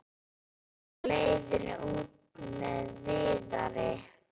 Var á leiðinni út með Viðari.